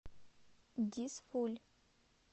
дизфуль